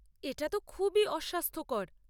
এটা তো খুবই অস্বাস্থ্যকর।